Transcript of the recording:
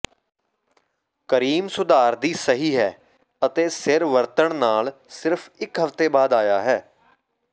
cream ਸੁਧਾਰ ਦੀ ਸਹੀ ਹੈ ਅਤੇ ਸਿਰ ਵਰਤਣ ਨਾਲ ਸਿਰਫ ਇਕ ਹਫ਼ਤੇ ਬਾਅਦ ਆਇਆ ਹੈ